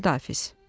Xudahafiz.